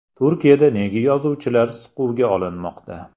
Turkiyada nega yozuvchilar siquvga olinmoqda?